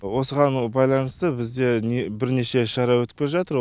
осыған байланысты бізде бірнеше шара өтіп келе жатыр